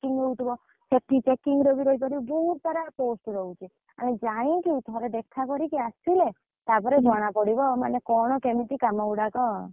Checking ରେବି ରହିପାରିବୁ ବହୁତ ସାରା ଅଛି post ରହୁଛି ଆଗ ଯାଇକି ଥରେ ଦେଖା କରିକି ଆସି ଲେ ତାପରେ ଜଣା ପଡିବ ମାନେ କଣ କେମିତି କାମ ଗୁଡାକ